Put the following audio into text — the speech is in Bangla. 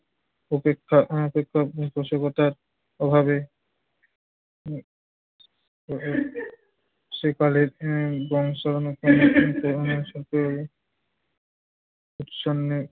উপেক্ষা ও পৃষ্ঠপোষকতার অভাবে উম সেকালের উম উচ্ছন্নে